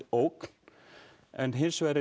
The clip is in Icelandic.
ógn en hins vegar er